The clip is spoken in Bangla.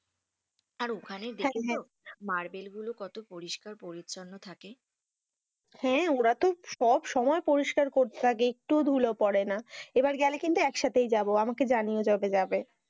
আর ওখানে গেলে, মার্বেল গুলো কত পরিষ্কার পরিচ্ছন্ন থাকে হেঁ, ওরা তো সব সময় পরিষ্কার করতে থাকে একটুও ধুলো পড়ে না, এবার গেলে কিন্তু একসাথেই যাবো আমাকে জানিও যবে যাবে,